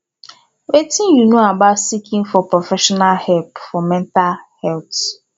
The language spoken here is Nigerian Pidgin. wetin you know about seeking for professional help for mental health